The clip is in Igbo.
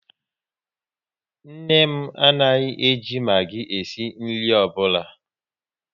Nne m anaghị e ji Magi esi nri ọbụla